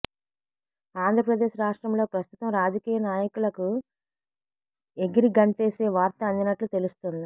ఆంధ్రప్రదేశ్ రాష్ట్రంలో ప్రస్తుతం రాజకీయ నాయకులకు ఎగిరిగంతేసే వార్త అందినట్లు తెలుస్తోంది